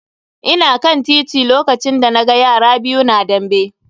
Ina kan titi lokacin da na ga yara biyu na dambe.